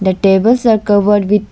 The tables are covered with --